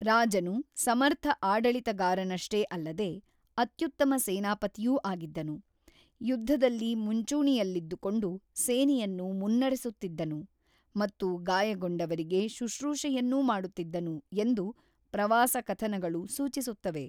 ರಾಜನು ಸಮರ್ಥ ಆಡಳಿತಗಾರನಷ್ಟೇ ಅಲ್ಲದೇ, ಅತ್ಯುತ್ತಮ ಸೇನಾಪತಿಯೂ ಆಗಿದ್ದನು, ಯುದ್ಧದಲ್ಲಿ ಮುಂಚೂಣಿಯಲ್ಲಿದ್ದುಕೊಂಡು ಸೇನೆಯನ್ನು ಮುನ್ನಡೆಸುತ್ತಿದ್ದನು ಮತ್ತು ಗಾಯಗೊಂಡವರಿಗೆ ಶುಶ್ರೂಷೆಯನ್ನೂ ಮಾಡುತ್ತಿದ್ದನು ಎಂದು ಪ್ರವಾಸ ಕಥನಗಳು ಸೂಚಿಸುತ್ತವೆ.